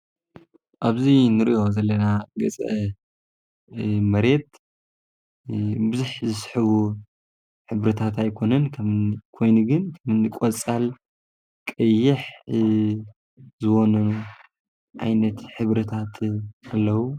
ኣብዙይ ንርእዮ ዘለና ገጸ መሬት ብዙሕ ዘስሕቡ ሕብርታት ኣይኮንን ከም ኮይኑግን ከምእኒ ቈጻል ቀይሕ ዘወነኑ ኣይነት ሕብርታት ኣለዉ።